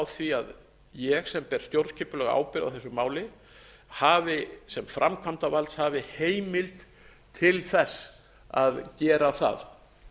því að ég sem ber stjórnskipulega ábyrgð á þessu máli hafi sem framkvæmdarvaldshafi heimild til þess að gera það